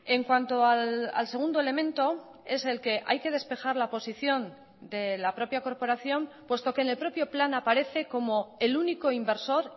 en cuanto al segundo elemento es el que hay que despejar la posición de la propia corporación puesto que en el propio plan aparece como el único inversor